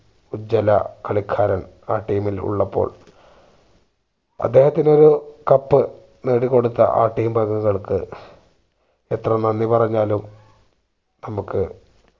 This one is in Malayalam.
ഉജ്വല കളിക്കാരൻ ആ team ഇൽ ഉള്ളപ്പോൾ അദ്ദേഹത്തിനൊരു cup നേടിക്കൊടുത്ത ആ team അംഗങ്ങൾക്ക് എത്ര നന്ദി പറഞ്ഞാലും നമ്മക്ക്